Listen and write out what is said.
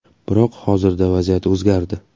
Biroq hozirda vaziyat o‘zgardi.